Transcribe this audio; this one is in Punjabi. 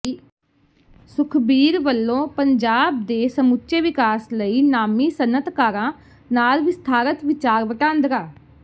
ਸੁਖਬੀਰ ਵਲੋਂ ਪੰਜਾਬ ਦੇ ਸਮੁੱਚੇ ਵਿਕਾਸ ਲਈ ਨਾਮੀ ਸਨਅਤਕਾਰਾਂ ਨਾਲ ਵਿਸਥਾਰਤ ਵਿਚਾਰ ਵਟਾਂਦਰਾ